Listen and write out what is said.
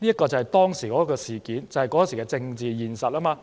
這便是當時的政治現實。